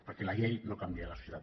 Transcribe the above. perquè la llei no canvia la societat